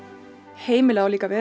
heimilið á líka að vera